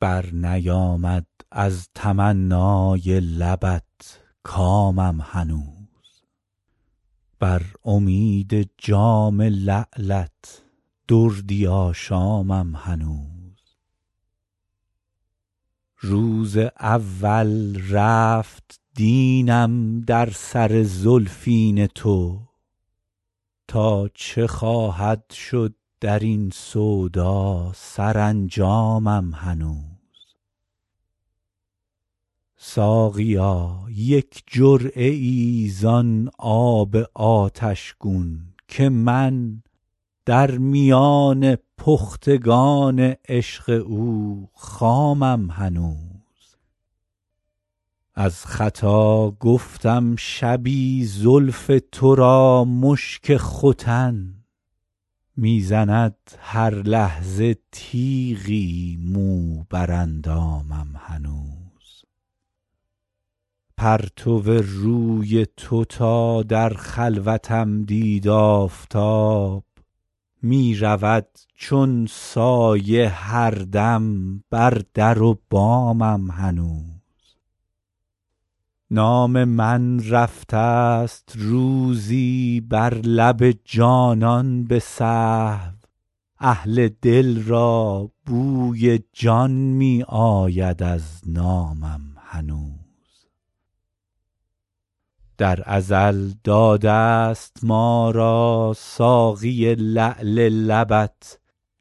برنیامد از تمنای لبت کامم هنوز بر امید جام لعلت دردی آشامم هنوز روز اول رفت دینم در سر زلفین تو تا چه خواهد شد در این سودا سرانجامم هنوز ساقیا یک جرعه ای زان آب آتش گون که من در میان پختگان عشق او خامم هنوز از خطا گفتم شبی زلف تو را مشک ختن می زند هر لحظه تیغی مو بر اندامم هنوز پرتو روی تو تا در خلوتم دید آفتاب می رود چون سایه هر دم بر در و بامم هنوز نام من رفته ست روزی بر لب جانان به سهو اهل دل را بوی جان می آید از نامم هنوز در ازل داده ست ما را ساقی لعل لبت